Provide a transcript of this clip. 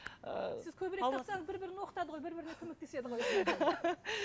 ы сіз көбірек тапсаңыз бір бірін оқытады ғой бір біріне көмектеседі ғой